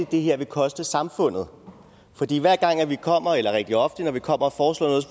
det her vil koste samfundet fordi hver gang vi kommer eller rigtig ofte når vi kommer